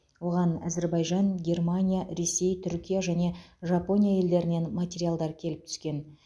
оған әзербайжан германия ресей түркия және жапония елдерінен материалдар келіп түскен